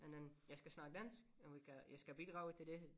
Men den jeg skal snakke dansk og vi kan jeg skal bidrage til det